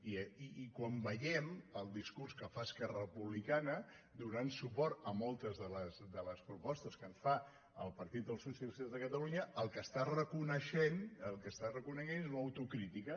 i quan veiem el discurs que fa esquerra republicana donant suport a moltes de les propostes que fa el partit dels socialistes de catalunya el que està reconeixent el que està reconeixent és una autocrítica